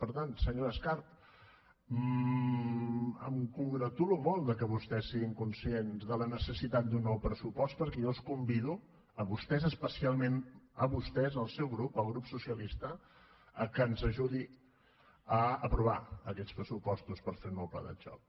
per tant senyora escarp em congratulo molt que vostès siguin conscients de la necessitat d’un nou pressupost perquè jo els convido a vostès especialment a vostès al seu grup al grup socialista que ens ajudi a aprovar aquests pressupostos per fer un nou pla de xoc